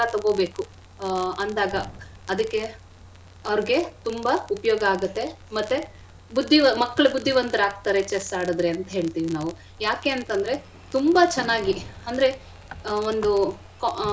ತೊಗೋಬೇಕು ಆ ಅಂದಾಗ ಅದಕ್ಕೆ ಅವ್ರಿಗೆ ತುಂಬಾ ಉಪ್ಯೋಗ ಆಗತ್ತೆ. ಮತ್ತೆ ಬುದ್ಧಿ ಮಕ್ಳು ಬುದ್ಧಿವಂತ್ರಾಗ್ತಾರೆ chess ಆಡಿದ್ರೆ ಅಂತ್ ಹೇಳ್ತಿವಿ ನಾವು ಯಾಕೆ ಅಂತ್ ಅಂದ್ರೆ ತುಂಬಾ ಚೆನ್ನಾಗಿ ಅಂದ್ರೆ.